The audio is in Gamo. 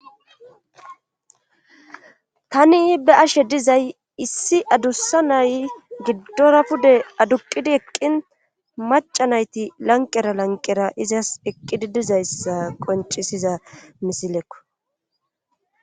Tani be ashe dizay issi adussa nay giddora pude aduqidi eqqin maca nayti lanqera lanqera izas eqqidi dizayssa qoncisiza misilekko.